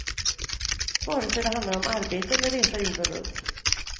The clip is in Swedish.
Vare sig det handlar om arbete eller resa jorden runt.